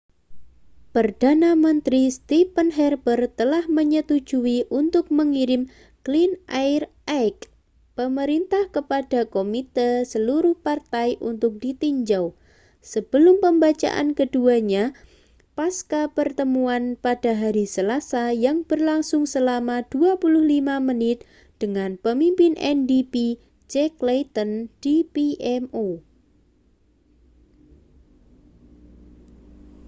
perdana menteri stephen harper telah menyetujui untuk mengirim clean air act' pemerintah kepada komite seluruh partai untuk ditinjau sebelum pembacaan keduanya pascapertemuan pada hari selasa yang berlangsung selama 25 menit dengan pemimpin ndp jack layton di pmo